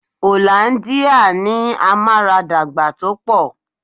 Hollandia ní amaradagba tó pọ̀.